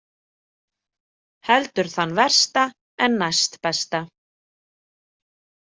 Heldur þann versta en næstbesta.